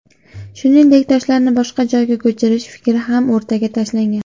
Shuningdek, toshlarni boshqa joyga ko‘chirish fikri ham o‘rtaga tashlangan.